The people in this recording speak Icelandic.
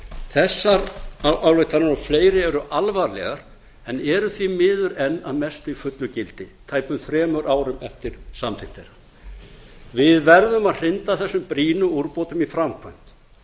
þessar ályktanir og fleiri eru alvarlegar en eru því miður enn að mestu í fullu gildi tæpum þremur árum eftir samþykkt þeirra við verðum að hrinda þessum brýnu úrbótum í framkvæmd